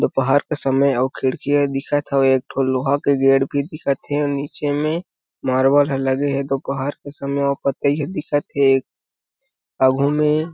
दोपहर के समय औ खिड़की ह दिखत हे एक ठो लोहा के गेट भी दिखत हे नीचे में मार्बल ह लगे हे दोपहर के समय ओ पतहिया दिखत हे आघू मे --